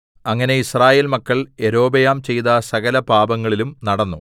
അങ്ങനെ യിസ്രായേൽ മക്കൾ യൊരോബെയാം ചെയ്ത സകലപാപങ്ങളിലും നടന്നു